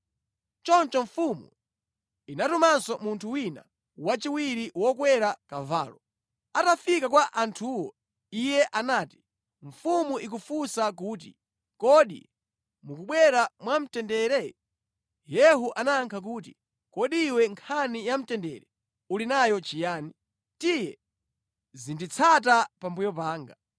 Choncho mfumu inatumanso munthu wina wachiwiri wokwera kavalo. Atafika kwa anthuwo iye anati, “Mfumu ikufunsa kuti, ‘Kodi mukubwera mwamtendere?’ ” Yehu anayankha kuti, “Kodi iwe nkhani ya mtendere yakukhudza bwanji? Tiye, zinditsata pambuyo panga.”